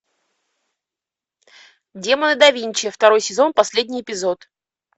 демоны да винчи второй сезон последний эпизод